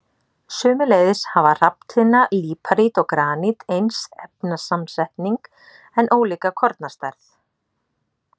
Sömuleiðis hafa hrafntinna, líparít og granít eins efnasamsetning en ólíka kornastærð.